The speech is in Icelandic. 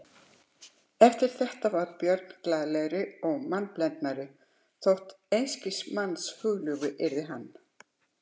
Eftir þetta varð Björn glaðlegri og mannblendnari þótt einskis manns hugljúfi yrði hann.